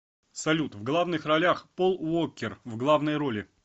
салют в главных ролях пол уоккер в главной роли